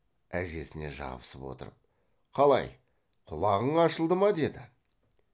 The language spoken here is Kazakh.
әжесіне жабысып отырып қалай құлағың ашылды ма деді